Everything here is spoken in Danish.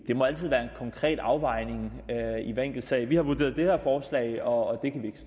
det må altid være en konkret afvejning i hver enkelt sag vi har vurderet det her forslag og